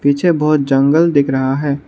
पीछे बहोत जंगल दिख रहा है।